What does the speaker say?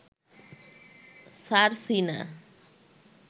Sarsina